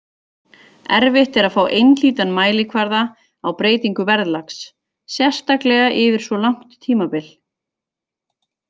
Erfitt er að fá einhlítan mælikvarða á breytingu verðlags, sérstaklega yfir svo langt tímabil.